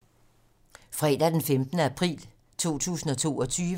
Fredag d. 15. april 2022